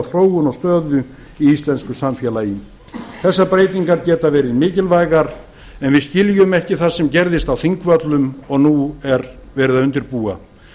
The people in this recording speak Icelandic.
þróun og stöðu í íslensku samfélagi þessar breytingar geta verið mikilvægar en við skiljum ekki það sem gerðist á þingvöllum og nú er verið að undirbúa